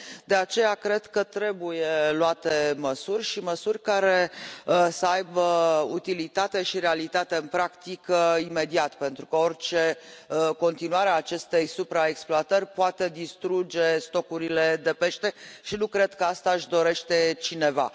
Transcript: De aceea, cred că trebuie luate măsuri și măsuri care să aibă utilitate și realitate în practică imediat, pentru că orice continuare a acestei supraexploatări poate distruge stocurile de pește și nu cred că asta își dorește cineva.